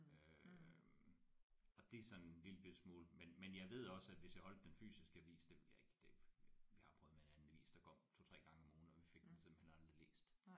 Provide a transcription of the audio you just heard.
Øh og det er sådan en lille bitte smule men men jeg ved også at hvis jeg holdt den fysiske avis det ville jeg ikke det vi har prøvet med en anden avis der kom 2 3 gange om ugen og vi fik den simpelthen aldrig læst